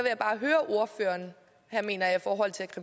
er mener at